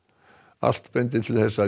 allt bendir til þess að